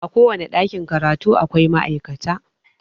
A kowane ɗakin karatu akwai ma'aikata